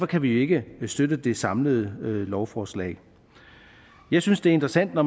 kan vi ikke støtte det samlede lovforslag jeg synes det er interessant når